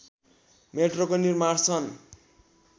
मेट्रोको निर्माण सन्